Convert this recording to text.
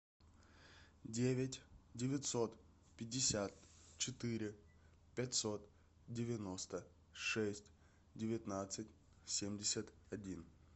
девять девятьсот пятьдесят четыре пятьсот девяносто шесть девятнадцать семьдесят один